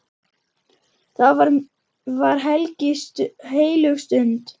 Það var heilög stund.